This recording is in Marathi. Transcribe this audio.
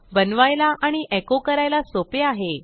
बनवायला आणि एको करायला सोपे आहे